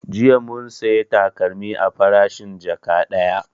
Jiya mun saya takalmi a farashin jaka ɗaya